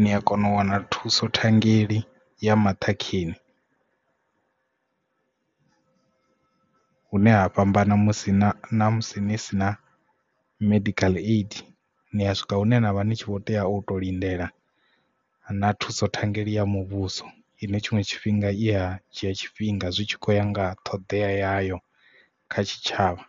ni a kona u wana thuso thangeli ya maṱhakheni hune ha fhambana musi na musi ni si na medical aid ni a swika hune navha ni tshi kho tea u to lindela na thuso thangeli ya muvhuso ine tshiṅwe tshifhinga i ya dzhia tshifhinga zwi tshi khou ya nga ṱhoḓea yayo kha tshitshavha.